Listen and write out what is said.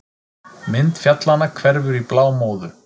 Mynd fjallanna hverfur í blámóðu.